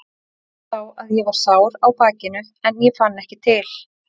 Ég vissi þá að ég var sár á bakinu en ég fann ekki til.